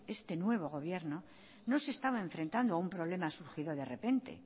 este nuevo gobierno no se estaba enfrentando a un problema surgido de repente